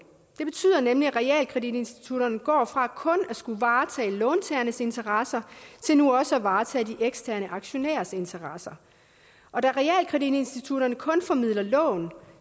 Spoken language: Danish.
det betyder nemlig at realkreditinstitutterne går fra kun at skulle varetage låntagernes interesser til nu også at varetage de eksterne aktionærers interesser og da realkreditinstitutterne kun formidler lån